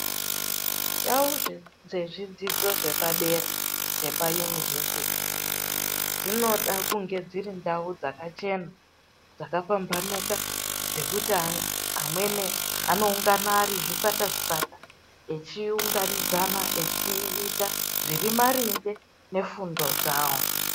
Ndau dzezvidzidzo zvepadera dzepaunivhesiti dzinoda kunge dziri ndau dzakachena dzakapambanuka, dzekuti amweni anoungana ari zvikwata zvikwata echiunganidzana echiita zviri maringe nefundo dzawo.